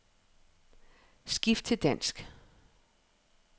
Skift til dansk.